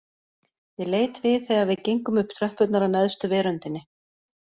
Ég leit við þegar við gengum upp tröppurnar að neðstu veröndinni